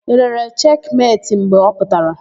I lere Cheki Meti mgbe ọ pụtara?